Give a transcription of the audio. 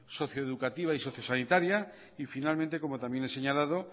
socio educativa y socio sanitaria y finalmente como también he señalado